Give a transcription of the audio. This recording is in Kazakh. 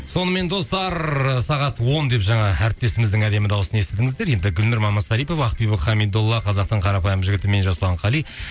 сонымен достар сағат он деп жаңа әрістесіміздің әдемі дауысын естідіңіздер енді гүлнұр мамасарипова ақбибі хамидолла қазақтың қарапайым жігіт мен жасұлан қали